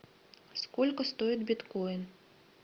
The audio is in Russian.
сколько стоит биткоин